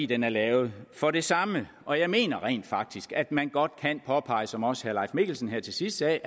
den er lavet for det samme og jeg mener rent faktisk at man godt kan påpege som også herre mikkelsen her til sidst sagde